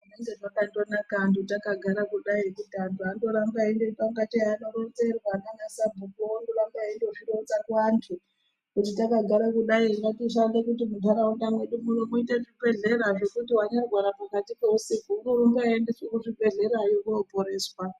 Zvinenge zvakandonaka antu takagara kudai kuti antu andoramba eindoita ingatei akaronzerwa naanasabhukuvo vondoramba veindozvironza kuantu kuti takagara kudai ngatishande kuti munharaunda mwedu muno muite zvibhehlera zvekuti wanyarwara pakati peusku unorumba eiendeswa kuzvibhehlerayo kunoporeswa.